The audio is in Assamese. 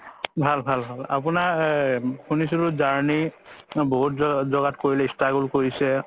ভাল ভাল ভাল আপোনাৰ শুনিছিলো journey বহুত জাগাত struggle কৰিছে